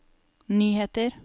nyheter